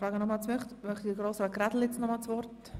Möchte sich Grossrat Grädel nun dazu äussern?